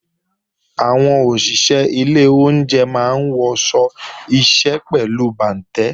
Àwọn òṣìṣé ilé oúnje máa ń wọṣọ iṣẹ́ pẹ̀lú bàǹtẹ́